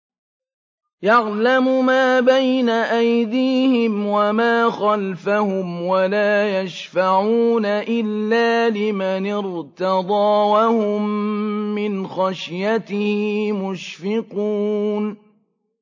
يَعْلَمُ مَا بَيْنَ أَيْدِيهِمْ وَمَا خَلْفَهُمْ وَلَا يَشْفَعُونَ إِلَّا لِمَنِ ارْتَضَىٰ وَهُم مِّنْ خَشْيَتِهِ مُشْفِقُونَ